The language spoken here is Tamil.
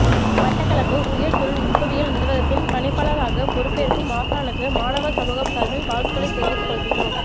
மட்டக்களப்பு உயர் தொழில் நுட்பவியல் நிறுவகத்தின் பணிப்பாளராக பெறுப்பேற்கும் ஆசானுக்கு மாணவர் சமூகம் சார்பில் வாழ்த்துக்களை தெரிவித்து கொள்கின்றோம்